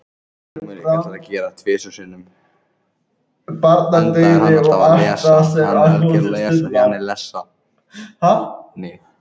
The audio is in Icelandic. Að binda fyrir pokann